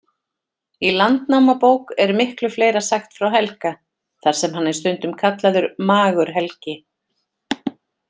Í Landnámabók er miklu fleira sagt frá Helga, þar sem hann er stundum kallaður Magur-Helgi.